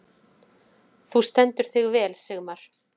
Þú stendur þig vel, Sigmar!